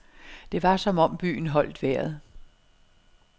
Det var som om byen holdt vejret.